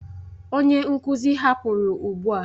Onye nkuzi hapụrụ ugbu a.